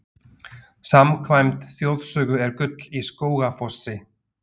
Samkvæmt þjóðsögu er gull í Skógafossi.